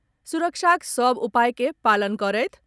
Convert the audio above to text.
सुरक्षाक सभ उपाय के पालन करथि।